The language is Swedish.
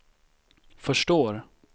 förstår